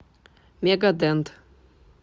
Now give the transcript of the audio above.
мега дент